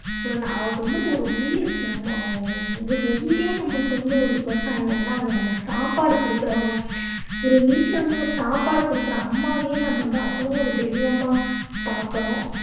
ஒண்ணு அது வந்து ஒரு உயிர். நம்ம அஹ் ஒரு உயிரே நமக்கு வந்து விவசாயாந்தான் ஏன்னா அவங்க நமக்கு வந்து சாப்பாடு கொடுக்கறவங்க. ஒரு வீட்டுல வந்து நான் சாப்பாடு கொடுக்கற அம்மாவையே நம்ம வந்து அவ்வளோ ஒரு தெய்வமா பார்க்கறோம்.